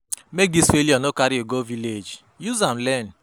Make dis failure no carry you go village, use am learn.